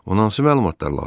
Ona hansı məlumatlar lazımdır?